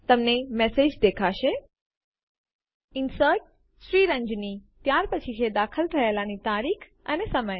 તમને મેસેજ દેખાશે inserted Sriranjani ત્યાર પછી છે દાખલ થયેલાની તારીખ અને સમય